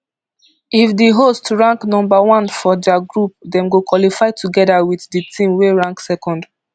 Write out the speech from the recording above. if di host rank number one for dia group dem go qualify togeda wit di team wey rank second